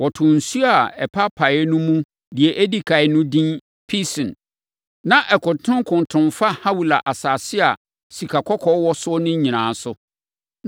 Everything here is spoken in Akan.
Wɔtoo nsuo a apaapae no mu deɛ ɛdi ɛkan no edin Pison. Na ɛkontonkonton fa Hawila asase a sikakɔkɔɔ wɔ so no so nyinaa.